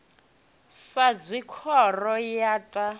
sa zwe khoro ya ta